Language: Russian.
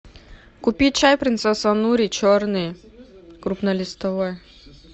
купи чай принцесса нури черный крупнолистовой